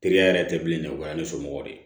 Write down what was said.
Teriya yɛrɛ tɛ bilen dɛ o y'a ne somɔgɔw de ye